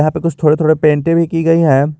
यहां पे कुछ थोड़े थोड़े पेंटे भी की गई है।